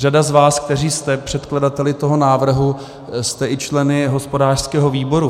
Řada z vás, kteří jste předkladateli toho návrhu, jste i členy hospodářského výboru.